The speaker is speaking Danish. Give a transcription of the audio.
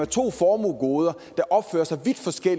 to formuegoder